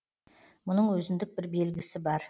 мұның өзіндік бір белгісі бар